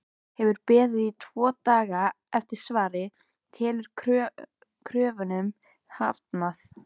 Hefur beðið tvo daga eftir svari- telur kröfunum hafnað!